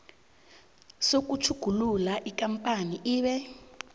sokutjhugulula ikampani ibe